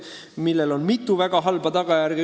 Sellel on mitu väga halba tagajärge.